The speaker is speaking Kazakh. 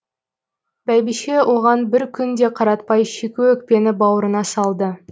бәйбіше оған бір күн де қаратпай шикі өкпені бауырына салды